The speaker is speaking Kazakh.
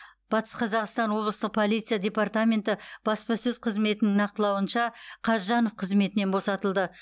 батыс қазақстан облыстық полиция департаменті баспасөз қызметінің нақтылауынша қазжанов қызметінен босатылды